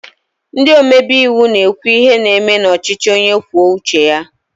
Ndị omebe iwu na-ekwu ihe na-eme n'ọchịchị onye kwue uche ya